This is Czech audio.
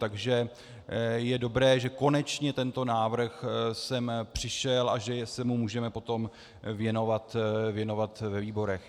Takže je dobré, že konečně tento návrh sem přišel a že se mu můžeme potom věnovat ve výborech.